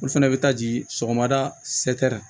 Olu fɛnɛ bɛ taa ji sɔgɔmada